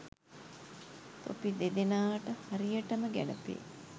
තොපි දෙදෙනාට හරියටම ගැලපේ.